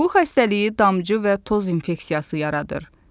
Bu xəstəliyi damcı və toz infeksiyası yaradır.